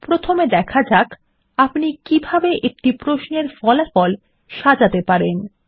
প্রথমে দেখা যাক আপনি কিভাবে একটি প্রশ্নের ফলাফল সাজাতে পারেন